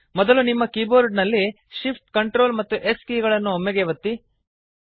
ಮೊದಲು ನಿಮ್ಮ ಕೀಬೋರ್ಡ ನಲ್ಲಿ shift Ctrl ಮತ್ತು s ಕೀ ಗಳನ್ನು ಒಮ್ಮೆಗೇ ಒತ್ತಿ